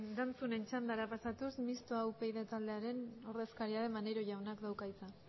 erantzunen txandara pasatuz mistoa upyd taldearen ordezkaria den maneiro jaunak dauka hitza